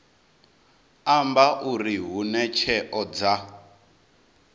amba uri hune tsheo dza